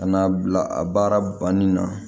Ka na bila a baara ni na